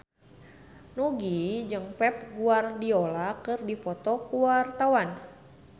Nugie jeung Pep Guardiola keur dipoto ku wartawan